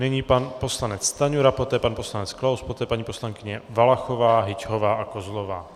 Nyní pan poslanec Stanjura, poté pan poslanec Klaus, poté paní poslankyně Valachová, Hyťhová a Kozlová.